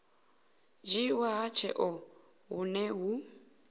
dzhiiwa ha tsheo hune hu